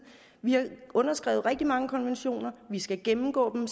vi har underskrevet rigtig mange konventioner vi skal gennemgå dem